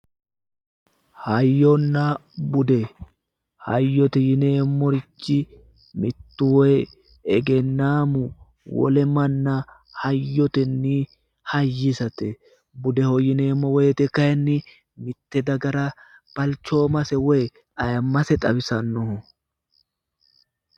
Hayyonna bude, hayyote yinneemmorichi mitu woyi egennamu wole manna hayyotenni hayisate budeho yinneemmo woyte kayinni mite dagara balchoomase woyi atimmase xawisano